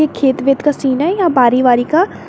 खेत वेत का सीन है या बारी वारी का।